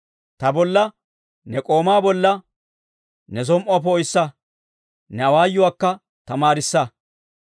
Ta bolla, ne k'oomaa bolla, ne som"uwaa poo'issa; ne awaayuwaakka tamaarissa.